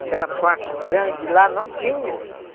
Aquela parte grande lá, não tinha.